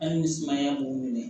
Hali ni sumaya b'u minɛ